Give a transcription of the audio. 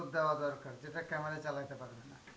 উত্তর দেওয়া দরকার এটা camera এ চালাইতে পারবে না.